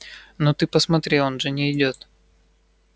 ну ты посмотри он же не идёт